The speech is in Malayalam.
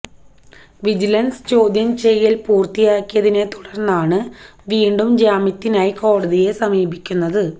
വിജിലന്സ് ചോദ്യം ചെയ്യല് പൂര്ത്തിയായതിനെത്തുടർന്നാണ് വീണ്ടും ജാമ്യത്തിനായി കോടതിയെ സമീപിക്കുന്നത്